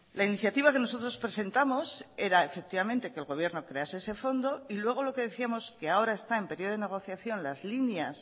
la iniciativa que nosotros presentamos era efectivamente que el gobierno crease ese fondo y luego lo que decíamos que ahora está en periodo de negociación las líneas